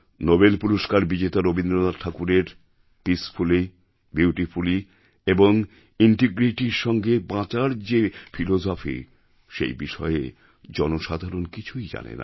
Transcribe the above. পুরস্কার বিজেতা রবীন্দ্রনাথ ঠাকুরের পিসফুলি বিউটিফুলি এবং integrityর সঙ্গে বাঁচার যে ফিলোসফি সেই বিষয়ে জনসাধারণ কিছুই জানে না